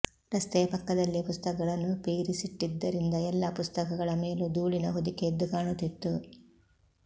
ರಸ್ತೆಯ ಪಕ್ಕದಲ್ಲೇ ಪುಸ್ತಕಗಳನ್ನು ಪೇರಿಸಿಟ್ಟಿದ್ದರಿಂದ ಎಲ್ಲ ಪುಸ್ತಕಗಳ ಮೇಲೂ ಧೂಳಿನ ಹೊದಿಕೆ ಎದ್ದು ಕಾಣುತ್ತಿತ್ತು